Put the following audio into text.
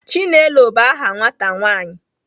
Chinelo bu aha nwata nwaanyị